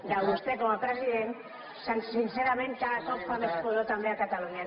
de vostè com a president sincerament cada cop fa més pudor també a catalunya